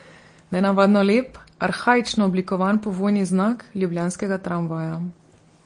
Nenavadno lep, arhaično oblikovan povojni znak ljubljanskega tramvaja.